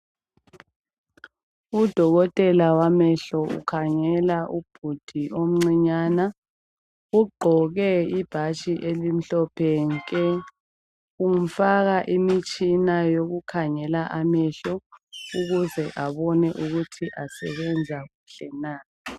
udokotela wamehlo ukhangela ubhudi omncinyana ugqoke ibhatshi elimhlophe nke umfaka imitshina yokumkhangela amehlo ukuze abone ukuthi asebenza kuhle na